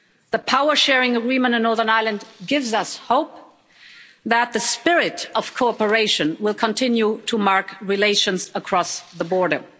The power sharing agreement in Northern Ireland gives us hope that the spirit of cooperation will continue to mark relations across the border.